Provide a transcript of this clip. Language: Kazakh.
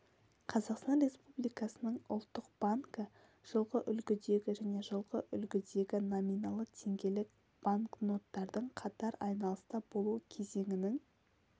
қазақстан республикасының ұлттық банкі жылғы үлгідегі және жылғы үлгідегі номиналы теңгелік банкноттардың қатар айналыста болу кезеңінің